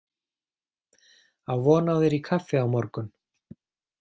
Á von á þér í kaffi á morgun!